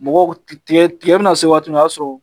Mɔgɔw tigɛ bɛna se waati min na o y'a sɔrɔ